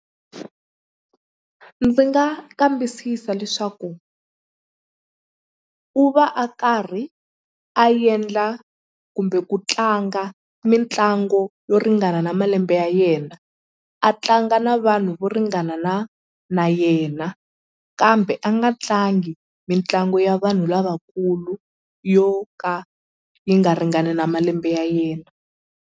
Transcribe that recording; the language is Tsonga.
Ndzi nga kambisisa leswaku u va a karhi a endla kumbe ku tlanga mitlangu yo ringana na malembe ya yena a tlanga na vanhu vo ringana na na yena kambe a nga tlangi mitlangu ya vanhu lavakulu yo ka yi nga ringani na malembe ya yena.